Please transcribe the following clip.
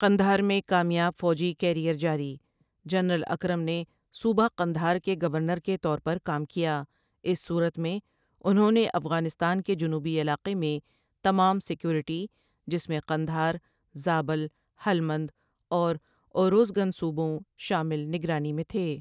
قندھار میں کامیاب فوجی کیریئر جاری، جنرل اکرم نے صوبہ قندھار کے گورنر کے طور پر کام کیا اس صورت میں، انہوں نے افغانستان کے جنوبی علاقے میں تمام سیکورٹی، جس میں قندھار، زابل، ہلمند اور اوروزگن صوبوں شامل نگرانی میں تھے ۔